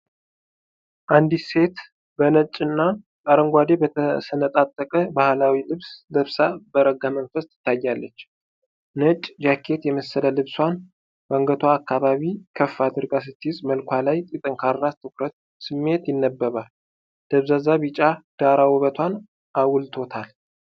አንዲት ሴት በነጭ እና አረንጓዴ በተሰነጣጠቀ ባህላዊ ልብስ ለብሳ በረጋ መንፈስ ትታያለች። ነጭ ጃኬት የመሰለ ልብሷን በአንገቷ አካባቢ ከፍ አድርጋ ስትይዝ፣ መልኳ ላይ የጠንካራ ትኩረት ስሜት ይነበባል። ደብዛዛ ቢጫ ዳራ ውበቷን አጉልቶታል።